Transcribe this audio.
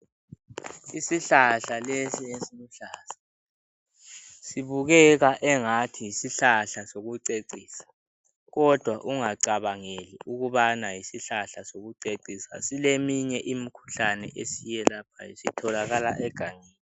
Isihlahla lesi esiluhlaza sibukeka engathi yisihlahla sokucecisa kodwa ungacabangeli ukubana yisihlahla sokucecisa sileminye imikhuhlane esiyelaphayo sitholakala egangeni.